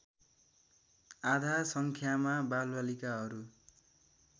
आधा सङ्ख्यामा बालबालिकाहरू